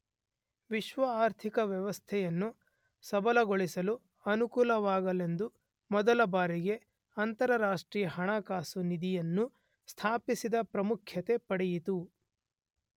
ವಿಶ್ವ ಆರ್ಥಿಕ ವ್ಯವಸ್ಥೆಯನ್ನು ಸಬಲಗೊಳಿಸಲು ಅನುಕೂಲವಾಗಲೆಂದು ಮೊದಲ ಬಾರಿಗೆ ಅಂತರರಾಷ್ಟ್ರೀಯ ಹಣಕಾಸು ನಿಧಿ ಅನ್ನು ಸ್ಥಾಪಿಸಿದ್ದು ಪ್ರಾಮುಖ್ಯತೆ ಪಡೆಯಿತು.